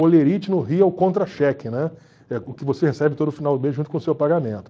Olerite no Rio é o contra-cheque, né, é o que você recebe todo final de mês junto com o seu pagamento.